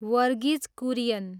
Verghese Kurien